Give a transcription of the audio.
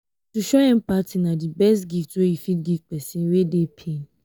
to show empathy na di best gift wey you fit give pesin wey dey pain.